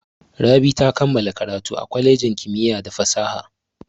Rabi ta kammala karatu a kwalejin kimiyya da fasaha.